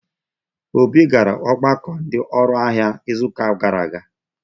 Obi gara ọgbakọ ndi oru ahia izuụka gara aga.